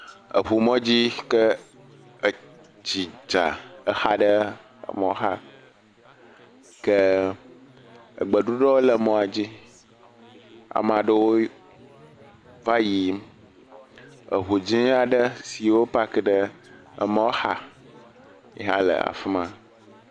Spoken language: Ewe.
Eŋu mɔdzi sike etsi dza exa ɖe emɔxa ke egbeɖuɖɔ le mɔa dzi, ameaɖewo va yiyim. Eŋu dziŋua ɖe si wo paki ɖe emɔxa le afima.